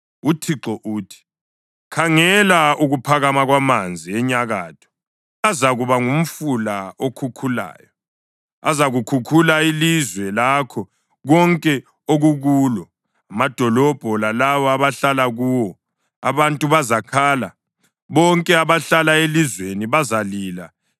UThixo uthi: “Khangela ukuphakama kwamanzi enyakatho; azakuba ngumfula okhukhulayo. Azakhukhula ilizwe lakho konke okukulo, amadolobho lalabo abahlala kuwo. Abantu bazakhala, bonke abahlala elizweni bazalila